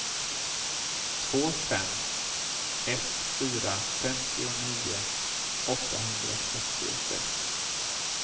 två fem ett fyra femtionio åttahundrafyrtiosex